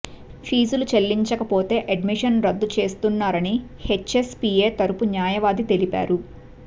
ఫీజులు చెల్లించకపోతే అడ్మిషన్ రద్దు చేస్తున్నారని హెచ్ఎస్ పీఏ తరఫు న్యాయవాది తెలిపారు